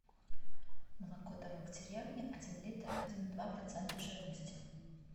молоко домик в деревне один литр один и два процента жирности